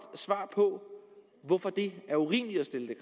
svar på hvorfor det er urimeligt at stille